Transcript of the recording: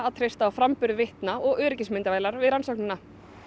treysta á framburð vitna og öryggismyndavélar við rannsóknina